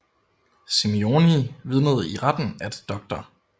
Simeoni vidnede i retten at Dr